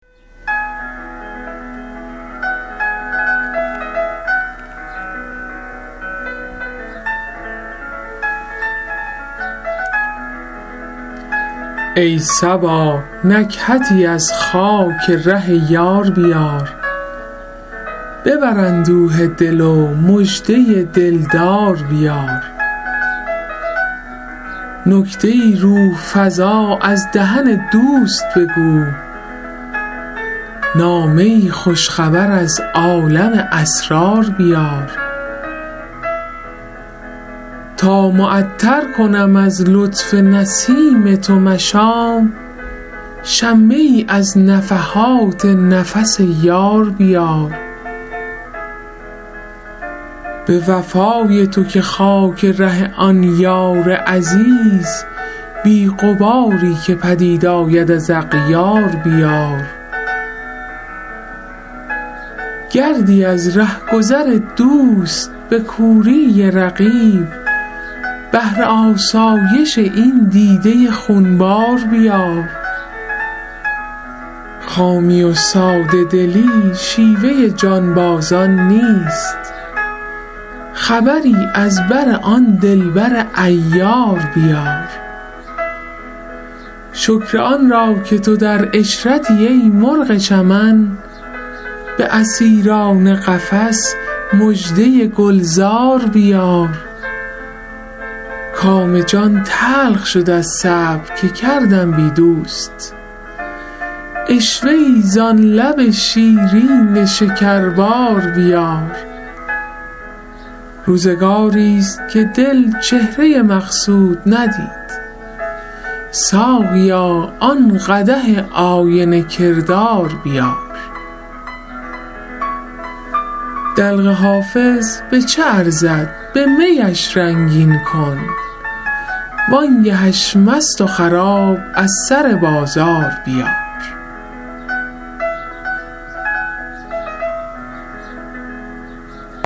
ای صبا نکهتی از خاک ره یار بیار ببر اندوه دل و مژده دل دار بیار نکته ای روح فزا از دهن دوست بگو نامه ای خوش خبر از عالم اسرار بیار تا معطر کنم از لطف نسیم تو مشام شمه ای از نفحات نفس یار بیار به وفای تو که خاک ره آن یار عزیز بی غباری که پدید آید از اغیار بیار گردی از ره گذر دوست به کوری رقیب بهر آسایش این دیده خون بار بیار خامی و ساده دلی شیوه جانبازان نیست خبری از بر آن دل بر عیار بیار شکر آن را که تو در عشرتی ای مرغ چمن به اسیران قفس مژده گل زار بیار کام جان تلخ شد از صبر که کردم بی دوست عشوه ای زان لب شیرین شکربار بیار روزگاریست که دل چهره مقصود ندید ساقیا آن قدح آینه کردار بیار دلق حافظ به چه ارزد به می اش رنگین کن وان گه اش مست و خراب از سر بازار بیار